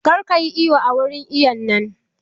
Kar kayi iwo a wurin iwon nan!